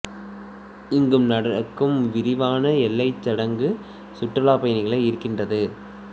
இங்கு நடக்கும் விரிவான எல்லைச் சடங்கு சுற்றுலாப் பயணிகளை ஈர்க்கின்றது